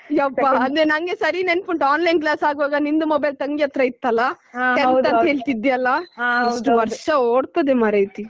ಯಪ್ಪಾ ಅಂದ್ರೆ ನನ್ಗೆ ಸರಿ ನೆನಪುಂಟು online class ಆಗುವಾಗ ನಿಂದು mobile ತಂಗಿಯತ್ರ ಇತ್ತಲ್ಲಾ tenth ಅಂತ ಹೇಳ್ತಾ ಇದ್ಯಲ್ಲಾ ಎಷ್ಟು ವರ್ಷ ಓಡ್ತದೆ ಮಾರೇತಿ.